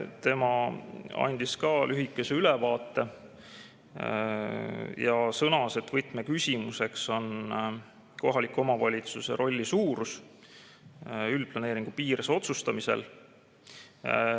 Tema andis ka lühikese ülevaate ja sõnas, et võtmeküsimus on kohaliku omavalitsuse roll üldplaneeringu piires otsustamisel.